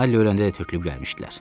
Alli öləndə də tökülüb gəlmişdilər.